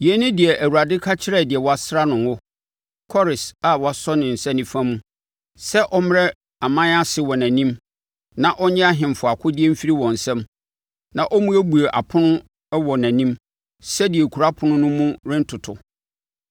“Yei ne deɛ Awurade ka kyerɛ deɛ wasra no ngo, Kores a wasɔ ne nsa nifa mu sɛ ɔmmrɛ aman ase wɔ nʼanim na ɔnnye ahemfo akodeɛ mfiri wɔn nsam na ɔmmuebue apono a ɛwɔ nʼanim sɛdeɛ kuro apono no mu rentoto.